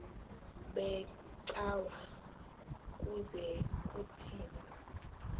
becawa ukuze kuthini